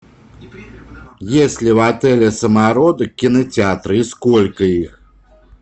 есть ли в отеле самородок кинотеатры и сколько их